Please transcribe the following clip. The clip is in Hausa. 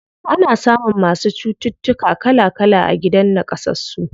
Ana samun masu cututtuka kala kala a gidan naƙasassu.